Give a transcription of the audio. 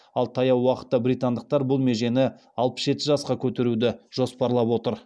ал таяу уақытта британдықтар бұл межені алпыс жеті жасқа көтеруді жоспарлап отыр